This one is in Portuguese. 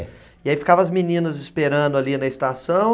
É. E aí ficava as meninas esperando ali na estação.